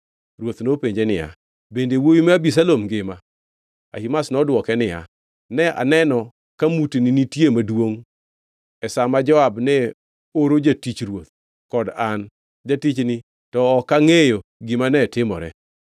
Ruoth nopenjo niya, “Bende wuowi ma Abisalom ngima?” Ahimaz nodwoke niya, “Ne aneno ka mutni nitie maduongʼ e sa ma Joab ne oro jatich ruoth kod an, jatichni, to ok angʼeyo gima ne timore.”